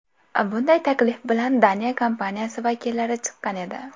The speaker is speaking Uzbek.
Bunday taklif bilan Daniya kompaniyasi vakillari chiqqan edi.